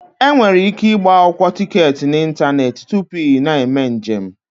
Enwere ike ịgba akwụkwọ tiketi n'ịntanetị tupu ị na-eme njem.